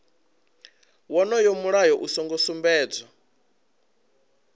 wonoyo mulayo u songo sumbedzwa